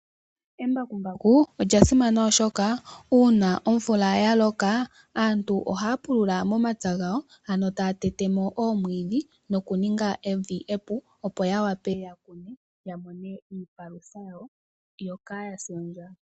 Embakumbaku olya simana oshoka uuna omvula yaloka, aantu ohaya pulula momapya gawo, ano taya tetemo oomwidhi, yo yaninge evi epu, opo yawape yakune yo yamone iipalutha yawo mbyoka yapumbwa.